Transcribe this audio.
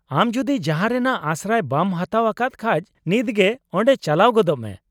-ᱟᱢ ᱡᱩᱫᱤ ᱡᱟᱦᱟᱸ ᱨᱮᱱᱟᱜ ᱟᱥᱨᱟᱭ ᱵᱟᱢ ᱦᱟᱛᱟᱣ ᱟᱠᱟᱫ ᱠᱷᱟᱡ, ᱱᱤᱛᱜᱮ ᱚᱸᱰᱮ ᱪᱟᱞᱟᱣ ᱜᱚᱫᱚᱜ ᱢᱮ ᱾